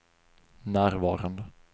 närvarande